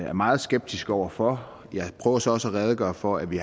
er meget skeptiske over for jeg prøver så også at redegøre for at vi